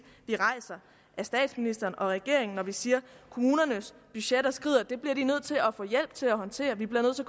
vi rejser af statsministeren og regeringen når vi siger kommunernes budgetter skrider og det bliver de nødt til at få hjælp til at håndtere vi bliver nødt til